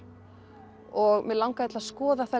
mig langaði til að skoða það